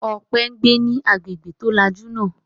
Ọpẹ́ ń gbé ní agbègbè tó lajú náà.